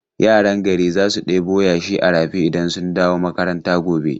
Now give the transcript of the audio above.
Yaran gari za su ɗebo yashi a rafi idan sun dawo makaranta gobe.